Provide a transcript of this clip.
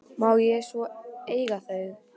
Má ég svo ekki eiga þau?